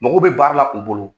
Magow bɛ baara la u bolo.